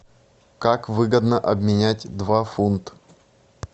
как выгодно обменять два фунт